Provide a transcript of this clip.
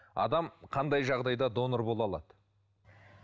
адам қандай жағдайда донор бола алады